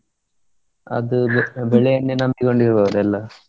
ಅದು ಅದು ಬೆಳೆಯನ್ನೇ ನಂಬಿಕೊಂಡಿರುವವರು ಎಲ್ಲಾ.